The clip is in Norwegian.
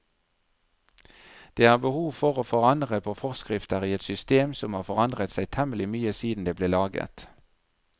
Det er behov for å forandre på forskrifter i et system som har forandret seg temmelig mye siden det ble laget.